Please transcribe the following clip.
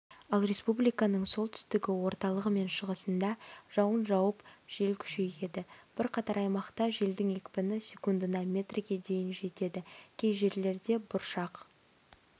ал республиканың солтүстігі орталығы мен шығысында жауын жауып жел күшейеді бірқатар аймақта желдің екпіні секундына метрге дейін жетеді кей жерлерде бұршақ